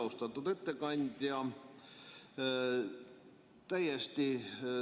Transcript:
Austatud ettekandja!